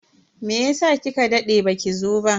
Meyasa kika dade baki zo ba?